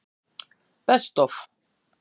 Best Of?